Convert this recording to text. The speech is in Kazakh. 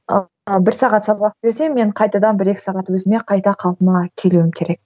ал бір сағат сабақ берсем мен қайтадан бір екі сағат өзіме қайта қалпыма келуім керек